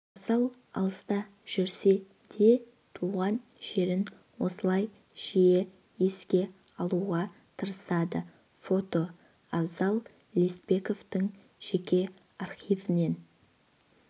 абзал алыста жүрсе де туған жерін осылай жиі еске алуға тырысады фото абзал лесбековтың жеке архивінен